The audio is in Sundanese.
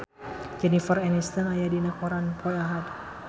Jennifer Aniston aya dina koran poe Ahad